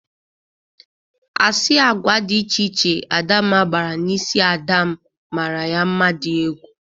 Asị agwa dị iche iche Adamma gbara n'isi ada m mara ya mma dị egwu.